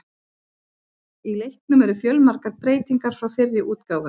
Í leiknum eru fjölmargar breytingar frá fyrri útgáfum.